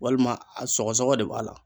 Walima a sɔgɔsɔgɔ de b'a la.